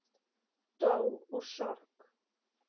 Dó úr sorg